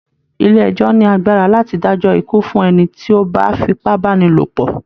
Ilé ẹjọ́ọ́ ní agbara láti dájọ́ ikú fún ẹni tí ó bá fipábánilòpọ̀